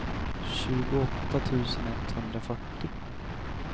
tjugoåtta tusen etthundrafyrtio